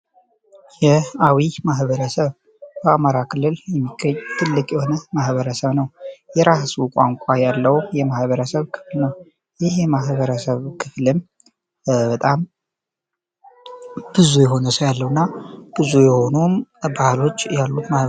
የአዊ ማህበረሰብ በአማራ ክልል የሚገኝ የሆነ ማሕበረሰብ ነው የራሱ ቋንኳ ያለው የማህበረሰብ ክፍል ነው። ይህ የማሕበረሰብ ክፍልም በጣም ብዙ የሆነ ያለው እና ብዙ የሆኖውም ባህሎች ያሉት ነው።